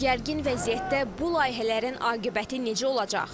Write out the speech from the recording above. Gərgin vəziyyətdə bu layihələrin aqibəti necə olacaq?